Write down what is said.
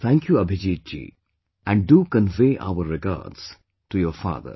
Thank you Abhijeet ji, and do convey our regards to your father